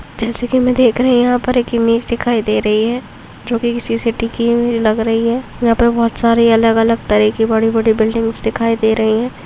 जैसेकी मे देख रही यहा पर एक इमेज दिखाई दे रही हैं जो कि किसी सिटी कि मुझे लग रही है यहा पर बहुत सारे अलग अलग तरीके बडे बडे बिल्डींग्स दिखाई दे रही है।